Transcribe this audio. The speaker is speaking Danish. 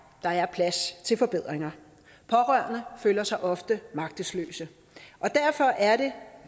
der er plads til forbedringer pårørende føler sig ofte magtesløse derfor er det